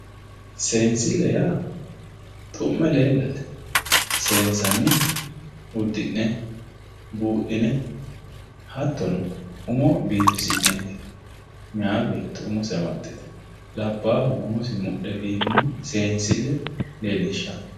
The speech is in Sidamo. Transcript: Seensile ya xu'me lelate sensanihu udune budhine hatino umo bifisineti mayyi betto umose amxite labahuno umosi mudhe bifinoha sensileho yinannu